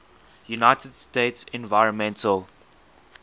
united states environmental